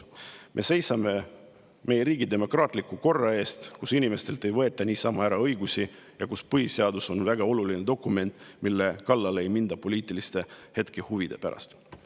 Me seisame meie riigi demokraatliku korra eest, et siin riigis inimestelt ei võetaks niisama ära õigusi ja põhiseadus oleks väga oluline dokument, mille kallale ei minda poliitiliste hetkehuvide pärast.